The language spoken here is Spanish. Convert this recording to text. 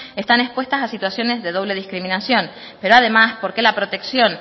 están expuestas a situaciones de doble discriminación pero además porque la protección